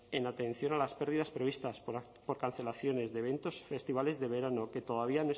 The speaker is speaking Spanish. en atención a las pérdidas previstas por cancelaciones de eventos y festivales de verano que todavía